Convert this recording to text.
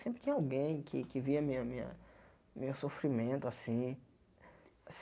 Sempre tinha alguém que que via minha minha meu sofrimento assim.